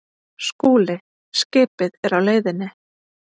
SKÚLI: Skipið er á leiðinni.